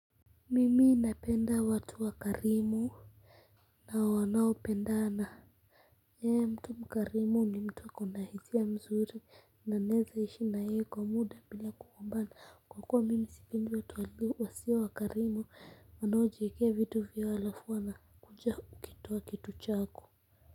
Mimi napenda watu wakarimu na wanaopendana, mtu mkarimu ni mtu ako na hisia nzuri na naweza kuishi naye kwa muda bila kugombana kwa kuwa mimi sipendi watu wasiokuwa wakarimu wanaojiekea vitu vyao halafu wanakuja kukitoa kitu chako.